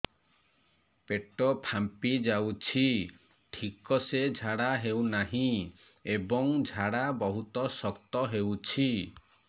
ପେଟ ଫାମ୍ପି ଯାଉଛି ଠିକ ସେ ଝାଡା ହେଉନାହିଁ ଏବଂ ଝାଡା ବହୁତ ଶକ୍ତ ହେଉଛି